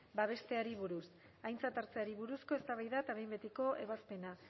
babesteari buruz aintzat hartzeari buruzko eztabaida eta behin betiko ebazpena